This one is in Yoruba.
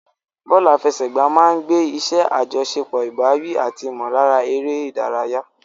Bọ́ọ̀lù àfẹsẹ̀gbá máa ń gbé iṣẹ́ àjọṣepọ̀, ìbáwí, àti ìmọ̀lára eré ìdárayá.